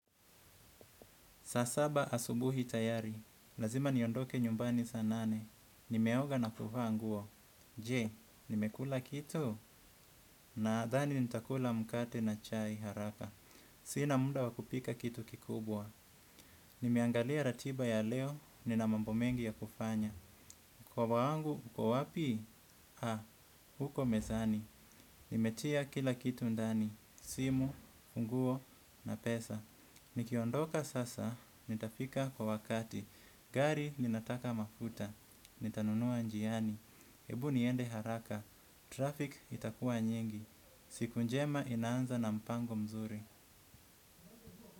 Saa saba asubuhi tayari. Lazima niondoke nyumbani saa nane. Nimeoga na kuvaa nguo. Je, nimekula kitu? Nadhani nitakula mkate na chai haraka. Sina muda wa kupika kitu kikubwa. Nimeangalia ratiba ya leo nina mambo mengi ya kufanya mkoba wangu, uko wapi? Uko mezani. Nimetia kila kitu ndani. Simu, nguo, na pesa. Nikiondoka sasa, nitafika kwa wakati. Gari linataka mafuta, nitanunua njiani. Ebu niende haraka, traffic itakua nyingi. Siku njema inaanza na mpango mzuri.